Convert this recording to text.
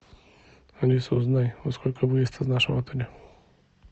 алиса узнай во сколько выезд из нашего отеля